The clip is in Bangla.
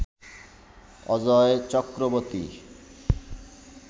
অজয় চক্রবর্তী